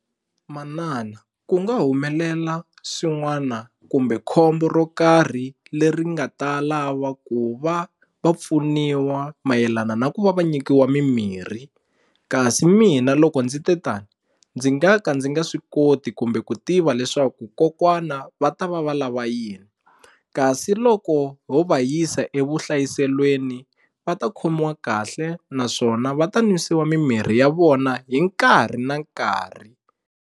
Manana ku nga humelela swin'wana kumbe khombo ro karhi leri nga ta lava ku va va pfuniwa mayelana na ku va va nyikiwa mimirhi kasi mina loko ndzi te tani ndzi nga ka ndzi nga swi koti kumbe ku tiva leswaku kokwana va ta va va lava yini kasi loko ho va yisa evuhlayiselweni va ta khomiwa kahle naswona va ta nwisiwa mimirhi ya vona hi nkarhi na nkarhi.